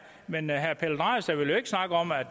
men herre pelle dragsted vil jo ikke snakke om at